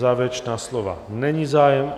O závěrečná slova není zájem.